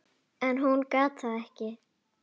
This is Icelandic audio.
En hún gat það ekki.